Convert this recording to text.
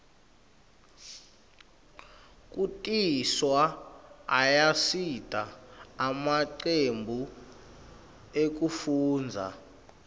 kutiswa ayasita emacembu ekufundza